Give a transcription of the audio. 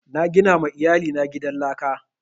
Na gina ma iyali na gidan laka